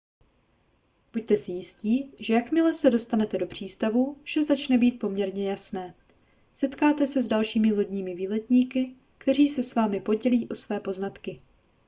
buďte si jistí že jakmile se dostanete do přístavů vše začne být poměrně jasné setkáte se s dalšími lodními výletníky kteří se s vámi podělí o své poznatky